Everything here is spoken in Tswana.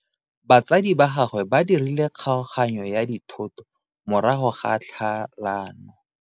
Batsadi ba gagwe ba dirile kgaoganyo ya dithoto morago ga tlhalano.